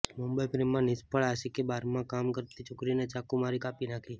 મુંબઈઃ પ્રેમમાં નિષ્ફળ આશિકે બારમાં કામ કરતી છોકરીને ચાકુ મારી કાપી નાખી